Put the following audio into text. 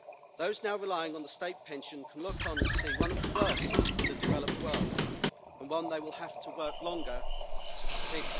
Those now relying on the state pension can look on and see one of the worst in the developed world and one that they will have to work longer to see.